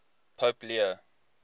pope leo